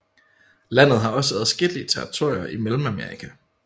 Landet har også adskillige territorier i Mellemamerika